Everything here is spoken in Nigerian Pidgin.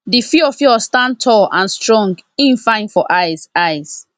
the fiofio stand tall and strong e fine for eyes eyes